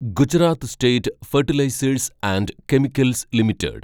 Gujarat State Fertilizers and Chemicals limited